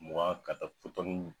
Mugan ka taa fo